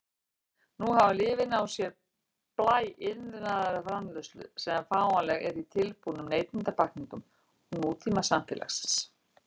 Nú hafa lyfin á sér blæ iðnaðarframleiðslu sem fáanleg er í tilbúnum neytendapakkningum nútímasamfélags.